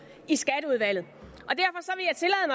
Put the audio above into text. i skatteudvalget